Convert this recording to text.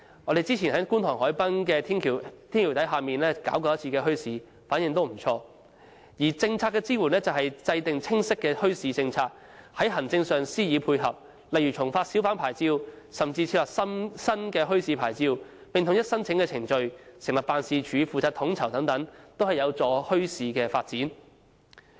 我們早前在觀塘海濱的天橋底舉辦過一次墟市，反應也不俗；而政策支援就是制訂清晰的墟市政策，在行政上加以配合，例如重發小販牌照，甚至設立新的墟市牌照，並統一申請程序、成立辦事處負責統籌等，都有助推動墟市發展。